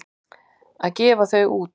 Að gefa þau út!